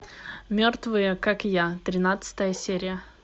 мертвые как я тринадцатая серия